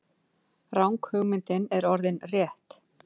Ranghugmyndin er orðin rétt.